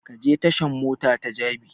Ka je tashan mota ta jabi!